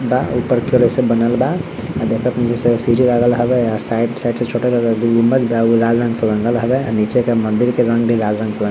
बा ऊपर से बनल बा देखत नीचे सीढ़ी लगल हवे साइड - साइड से छोटा गुम्बद बा एगो लाल रंग से रंगल हवे नीचे के मन्दिर के रंग भी लाल रंग से रंग --